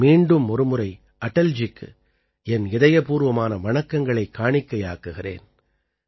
நான் மீண்டும் ஒருமுறை அடல்ஜிக்கு என் இதயபூர்வமான வணக்கங்களைக் காணிக்கையாக்குகிறேன்